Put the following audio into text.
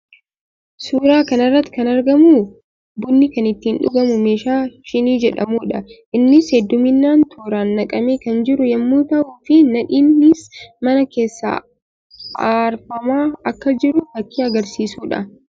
Suuraa kana irratti kan argamu bunni kan ittiin dhugamu meeshaa shinii jedhamuu dha. Innis hedduminaan tooraan naqamee kan jiru yammuu tahuu fi nadiinis mana keessaa aarfamaa akka jiru fakkii agarsiisuu dha.